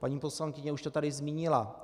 Paní poslankyně už to tady zmínila.